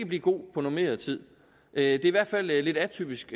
blive god på normeret tid det er i hvert fald lidt atypisk